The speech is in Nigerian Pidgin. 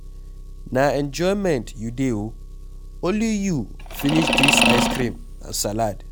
Na enjoyment you dey oo, only you finish dis ice cream and salad.